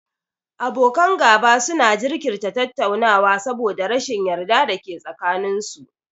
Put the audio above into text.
Abokan gaba su na jinkirta tattaunawa saboda rashin yarda da ke tsakanin su